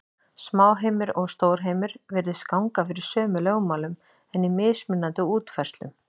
Smáheimur og stórheimur virðist ganga fyrir sömu lögmálum, en í mismunandi útfærslum.